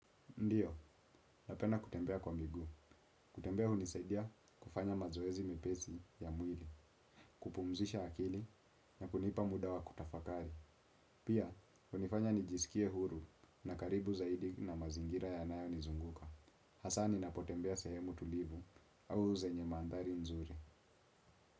Ndiyo, napenda kutembea kwa miguu. Kutembea hunisaidia kufanya mazoezi mepesi ya mwili, kupumzisha akili na kunipa muda wa kutafakari. Pia, unifanya nijisikie huru na karibu zaidi na mazingira ya nayo nizunguka. Hasani napotembea sehemu tulivu au zenye mandhari nzuri.